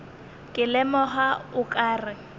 ke lemoga o ka re